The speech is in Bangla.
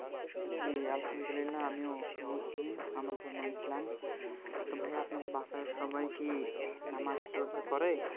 জি আলহামদুলিল্লাহ আমিও মুসলিম আমার ধর্ম ইসলাম তো ভাইয়া আপনার বাসার সবাই কি নামাজ রোজা করে